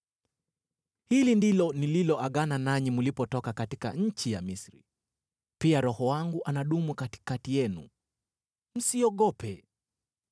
‘Hili ndilo nililoagana nanyi mlipotoka katika nchi ya Misri. Pia Roho wangu anadumu katikati yenu. Msiogope.’